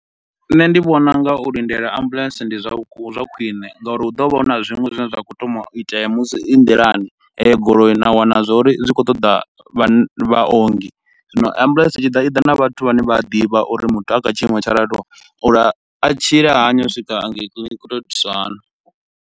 Nṋe ndi vhona unga u lindela ambuḽentse ndi zwa vhu ndi zwa khwiṋe ngauri hu ḓo vha hu na zwiṅwe zwine zwa khou thoma u itea musi i nḓilani heyo goloi na wana zwa uri zwi khou ṱoḓa vhan vha ongi, zwino ambuḽentse itshi ḓa i ḓa na vhathu vhane vha a ḓivha uri muthu a kha tshiimo tsho raliho uri a tshile hani u swika angei kiḽiniki u to itiswa hani.